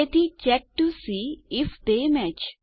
તેથી check to see if they match